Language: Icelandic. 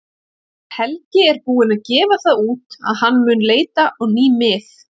Helgi er búinn að gefa það út að hann mun leita á ný mið.